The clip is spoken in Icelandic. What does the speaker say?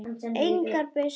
Engar byssur.